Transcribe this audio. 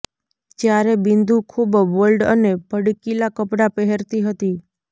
જ્યારે બિંદુ ખૂબ બોલ્ડ અને ભડકીલા કપડા પહેરતી હતી